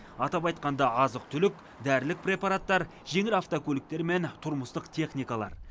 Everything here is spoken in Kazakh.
атап айтқанда азық түлік дәрілік препараттар жеңіл автокөліктер мен тұрмыстық техникалар